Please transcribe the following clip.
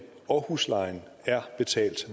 og huslejen er betalt